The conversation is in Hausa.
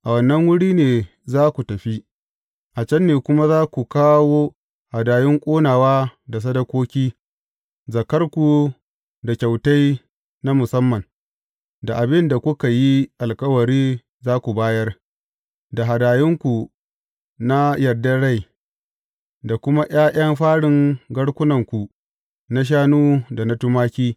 A wannan wuri ne za ku tafi; a can ne kuma za ku kawo hadayun ƙonawa da sadakoki, zakkarku da kyautai na musamman, da abin da kuka yi alkawari za ku bayar, da hadayunku na yardar rai, da kuma ’ya’yan farin garkunanku na shanu da na tumaki.